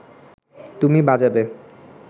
তুমি বাজাবে